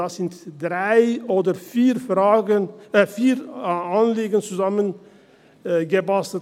Da sind drei oder vier Anliegen zusammengebastelt.